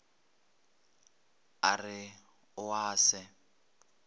a re o a se